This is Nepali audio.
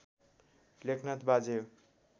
लेखनाथ बाजे हो